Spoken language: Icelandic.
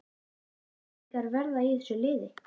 Hvaða íslendingar verða í þessu liði?